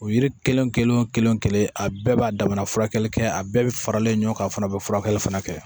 O yiri kelen kelen kelen wo kelen wo kelen a bɛɛ b'a damana furakɛli kɛ a bɛɛ bi faralen ɲɔgɔn kan a fana be furakɛli fana kɛ